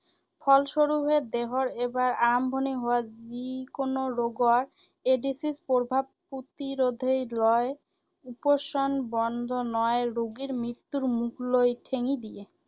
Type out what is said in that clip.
ফলস্বৰূপে দেহত এবাৰ আৰম্ভণি হোৱা যিকোনো ৰোগৰ এইড্‌ছৰ প্ৰভাৱত প্ৰতিৰোধেই লয় উপশম বন্ধ নহয়, ৰোগীৰ মৃত্যুৰ মুখলৈ ঠেলি দিয়ে।